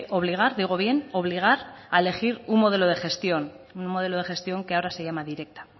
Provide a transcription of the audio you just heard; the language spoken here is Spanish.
obligar digo bien obligar a elegir un modelo de gestión un modelo de gestión que ahora se llama directa